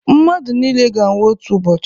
Mmadụ niile ga-anwụ otu ụbọchị